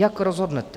Jak rozhodnete?